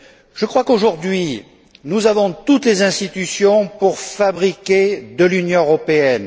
Je crois qu'aujourd'hui nous avons toutes les institutions nécessaires pour fabriquer de l'Union européenne.